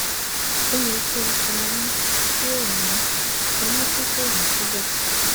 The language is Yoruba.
O yẹ ki o ṣan ọmu ti o ni ọmu ti ko ni suga